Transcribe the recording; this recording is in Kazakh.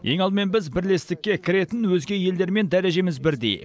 ең алдымен біз бірлестікке кіретін өзге елдермен дәрежеміз бірдей